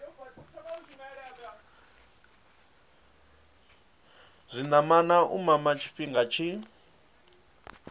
zwinamana u mama tshifhinga tshi